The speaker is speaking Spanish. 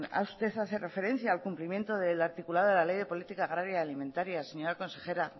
usted hace referencia al cumplimiento del articulado de la ley de política agraria y alimentaria señora consejera